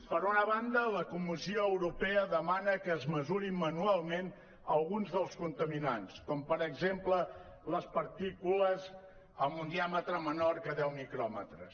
per una banda la comissió europea demana que es mesurin manualment alguns dels contaminants com per exemple les partícules amb un diàmetre menor de deu micròmetres